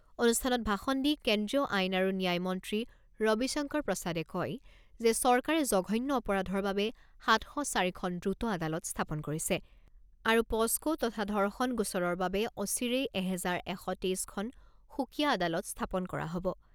অনুষ্ঠানত ভাষণ দি কেন্দ্ৰীয় আইন আৰু ন্যায়মন্ত্ৰী ৰবিশংকৰ প্ৰসাদে কয় যে চৰকাৰে জঘন্য অপৰাধৰ বাবে সাত শ চাৰি খন দ্ৰুত আদালত স্থাপন কৰিছে আৰু পোস্কো তথা ধৰ্ষণ গোচৰৰ বাবে অচিৰেই এহেজাৰ এশ তেইছখন সুকীয়া আদালত স্থাপন কৰা হ'ব।